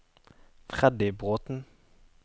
Freddy Bråten